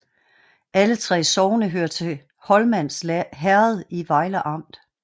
Alle 3 sogne hørte til Holmans Herred i Vejle Amt